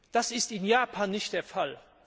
Das ist in Japan nicht der Fall.